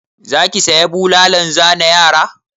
Za ki saya bulalan zane yara?